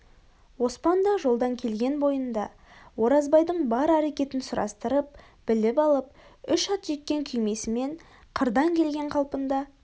оспан да жолдан келген бойында оразбайдың бар әрекетін сұрастырып біліп алып үш ат жеккен күймесімен қырдан келген қалпында